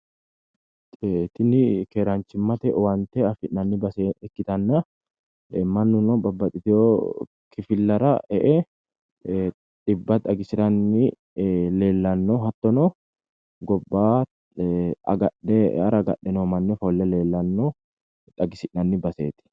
Tini keeraanchimmate owaante afi'nanni base ikkitanna mannuno babbaxxitewo kifillara e'e dhibba xagisiranni leellanno hattono gobba agadhe e'ara agadhe noo manni ofolle leellanno xagisi'nanni baseeti